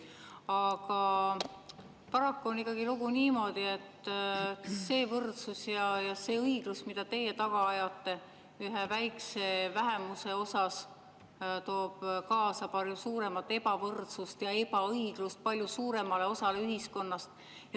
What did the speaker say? Aga paraku on ikkagi lugu niimoodi, et see võrdsus ja õiglus, mida teie taga ajate ühe väikse vähemuse jaoks, toob kaasa palju suuremat ebavõrdsust ja ebaõiglust palju suuremale osale ühiskonnast.